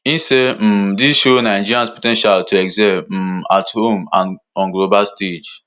e say um dis show nigerians po ten tial to excel um at home and on global stage